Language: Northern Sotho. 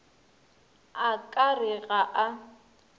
a ka re ga a